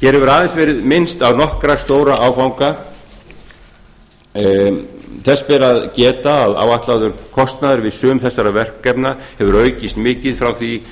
hér hefur aðeins verið minnst á nokkra stóra áfanga þess ber að geta að áætlaður kostnaður við sum þessara verkefna hefur aukist mikið frá því